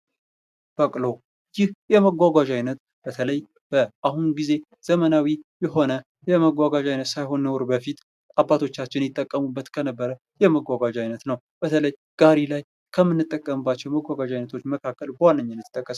በቅሎ ይህ የመጓጓዣ አይነት በተለይ በአሁኑ ጊዜ ዘመናዊ የሆነ የመጓጓዣ አይነት ሳይሆን ኑሮ በፊት አባቶቻችን ይጠቀሙበት የነበረ የመጓጓዣ አይነት ነው። በተለይ ጋሪ ላይ ከምንጠቀምባቸው የመጓጓዣ አይነቶች መካከል በዋናነት ይጠቀሳል።